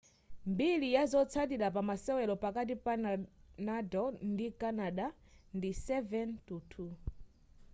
mbiri yazotsatira pamasewero pakati pa nadal ndi canada ndi 7-2